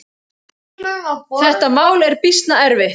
Þetta mál er býsna erfitt.